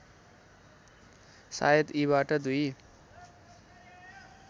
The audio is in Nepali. सायद यीबाट दुई